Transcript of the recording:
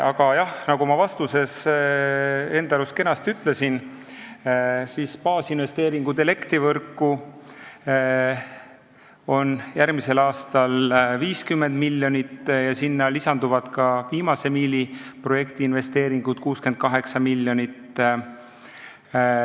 Aga jah, nagu ma vastuses enda arust kenasti ütlesin, baasinvesteeringud elektrivõrku on järgmisel aastal 50 miljonit ja sellele lisanduvad ka viimase miili projekti investeeringud, 68 miljonit.